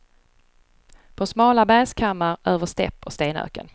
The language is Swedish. På smala bergskammar, över stäpp och stenöken.